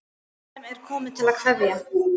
Fólk sem er komið til að kveðja.